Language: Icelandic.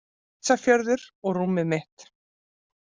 Ísafjörður og rúmið mitt